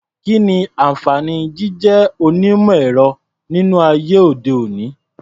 Kí ni àǹfààní jíjé onímọ̀-ẹ̀rọ nínú ayé òde-òní?